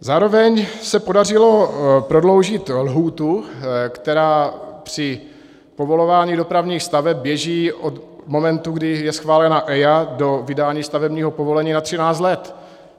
Zároveň se podařilo prodloužit lhůtu, která při povolování dopravních staveb běží od momentu, kdy je schválena EIA, do vydání stavebního povolení na 13 let.